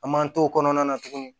An man to o kɔnɔna na tuguni